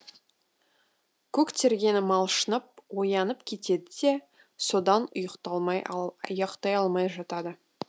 көк терге малшынып оянып кетеді де содан ұйықтай алмай жатады